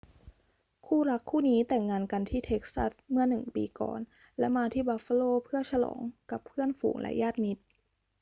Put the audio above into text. คู่รักคู่นี้แต่งงานกันที่เท็กซัสเมื่อหนึ่งปีก่อน และมาที่บัฟฟาโลเพื่อฉลองกับเพื่อนฝูงและญาติมิตร